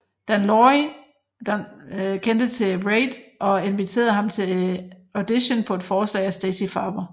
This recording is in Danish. Dan Lavy kendte til Reid og inviterede ham til audition på forslag af Stacey Farber